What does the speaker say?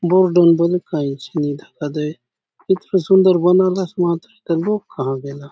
बले काई ची नी दखा दये इथोलो सुंदर बनालास मातर एथा लोक कहा गेला।